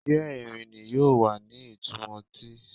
Diẹ Irini yoo wa ni itumọ ti